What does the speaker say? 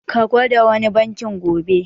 Ka gwada wani bankin gobe.